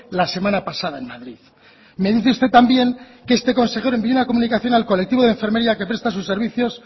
la semana pasada en madrid me dice usted también que este consejero envió una comunicación al colectivo de enfermería que presta sus servicios